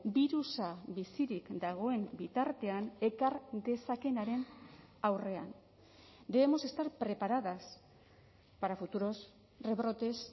birusa bizirik dagoen bitartean ekar dezakeenaren aurrean debemos estar preparadas para futuros rebrotes